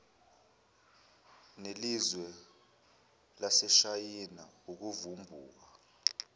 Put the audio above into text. nelizwe laseshayina ukuvumbuka